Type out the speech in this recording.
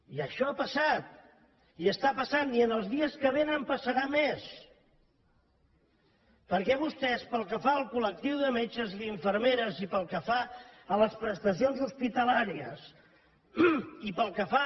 i això ha passat i està passant i en el dies que vénen passarà més perquè vostès pel que fa al col·lectiu de metges i d’infermeres i pel que fa a les prestacions hospitalàries i pel que fa